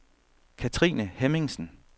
Katrine Hemmingsen